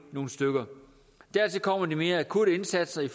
nogle stykker dertil kommer de mere akutte indsatser i